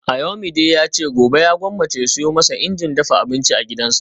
Ayomide yace gobe ya gwammace ya siyo masa injin dafa abinci a gidansa